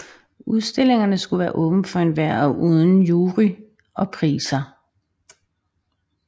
Udstillingerne skulle være åbne for enhver og uden jury og priser